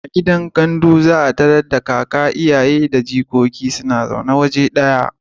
A gidan gandu za a tarar da kaka da iyaye da jigogi suna zaune waje ɗaya.